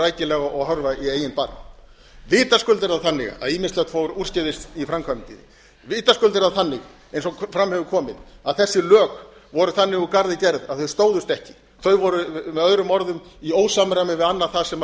rækilega og horfa í eigin barm vitaskuld er það þannig eins og fram hefur komið að þessi lög voru þannig úr garði gerð að þau stóðust ekki þau voru með öðrum orðum í ósamræmi við annað það sem